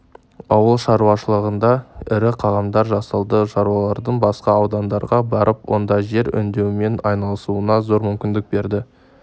ауыл шаруашылығында ірі қадамдар жасалды шаруалардың басқа аудандарға барып онда жер өңдеумен айналысуына зор мүмкіндік берді